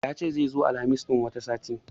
Yace zai zo Alhamis ɗin wani sati